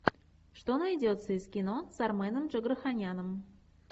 что найдется из кино с арменом джигарханяном